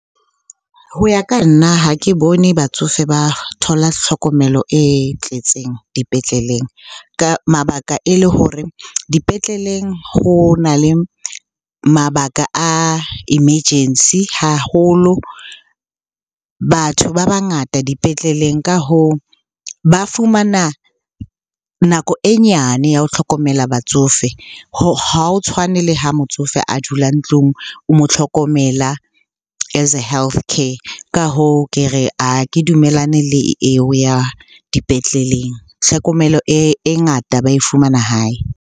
Ho ya ka nna ha ke bone batsofe ba thola tlhokomelo e tletseng dipetleleng. Ka mabaka e le hore dipetleleng ho na le mabaka a emergency haholo, batho ba bangata dipetleleng. Ka hoo, ba fumana nako e nyane ya ho hlokomela batsofe. Ha o tshwane le ha motsofe a dula ntlung o mo tlhokomela as health car. Ka hoo ke re ha ke dumellane le eo ya dipetleleng, tlhokomelo e ngata ba e fumana hae.